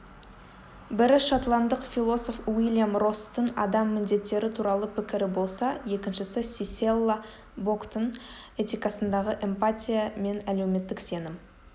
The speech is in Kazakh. бірі шотландық философ уильям росстың адам міндеттері туралы пікірі болса екіншісі сиссела боктың этикасындағы эмпатия мен әлеуметтік сенім